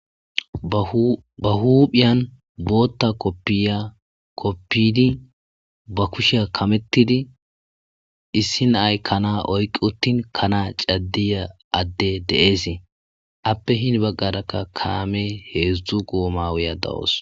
ba huuphiyan bootta koppiya koppidi ba kusheya kamettidi issi nay kana oyqi uttin kana caddiya adde de7eesee appe hini baggarakka kaame heedzdzu goomawuya da7os